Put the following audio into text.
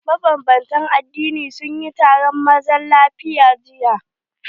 Maban bantan addini sunyi taron zaman lafiya jiya.